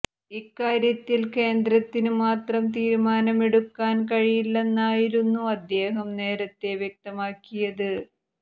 ഇക്കാര്യത്തിൽ കേന്ദ്രത്തിന് മാത്രം തീരുമാനമെടുക്കാൻ കഴിയില്ലെന്നായിരുന്നു അദ്ദേഹം നേരത്തെ വ്യക്തമാക്കിയത്